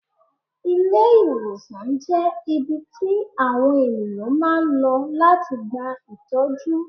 Ilé-ìwòsàn jẹ́ ibi tí àwọn ènìyàn máa ń lọ láti gba ìtọ́jú.